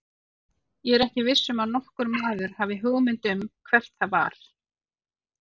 Ég er ekki viss um að nokkur maður hafi hugmynd um hvert það var.